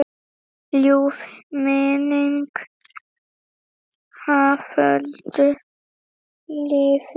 Ljúf minning Haföldu lifir.